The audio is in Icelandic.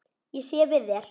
Ég sé við þér.